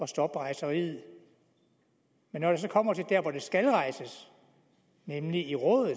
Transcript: stoppe rejseriet men når det så kommer til der hvor sagen skal rejses nemlig i rådet